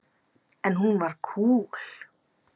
En hún var kúl.